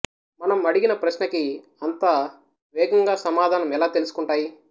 మనం అడిగిన ప్రశ్నకి అంత వేగంగా సమాధానం ఎలా తెలుసుకుంటాయి